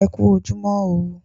E kú ojúmọ́ o.